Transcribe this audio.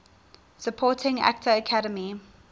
supporting actor academy